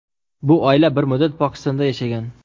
Bu oila bir muddat Pokistonda yashagan.